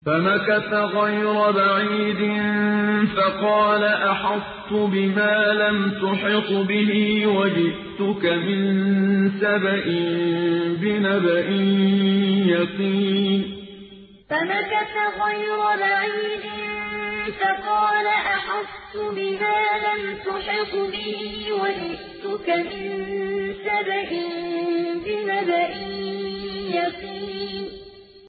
فَمَكَثَ غَيْرَ بَعِيدٍ فَقَالَ أَحَطتُ بِمَا لَمْ تُحِطْ بِهِ وَجِئْتُكَ مِن سَبَإٍ بِنَبَإٍ يَقِينٍ فَمَكَثَ غَيْرَ بَعِيدٍ فَقَالَ أَحَطتُ بِمَا لَمْ تُحِطْ بِهِ وَجِئْتُكَ مِن سَبَإٍ بِنَبَإٍ يَقِينٍ